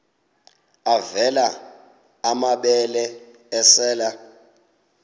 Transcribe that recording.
avela amabele esel